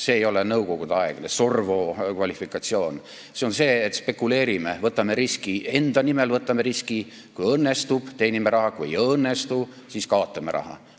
See ei ole nõukogudeaegne SORVVO kvalifikatsioon, see on niisugune spekuleerimine, et võtame enda nimel riski ja kui õnnestub, teenime raha, kui ei õnnestu, siis kaotame raha.